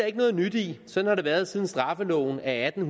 ikke noget nyt i sådan har det været siden straffeloven af atten